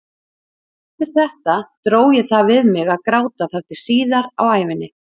Eftir þetta dró ég það við mig að gráta þar til síðar á ævinni.